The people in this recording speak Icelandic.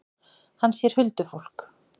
Hann sér huldufólk.